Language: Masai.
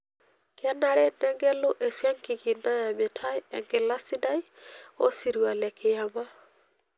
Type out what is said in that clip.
Kenare negelu esiankiki nayamitai enkila sidai osirua le kiyama.